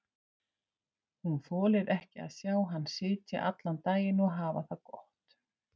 Hún þolir ekki að sjá hann sitja allan daginn og hafa það gott.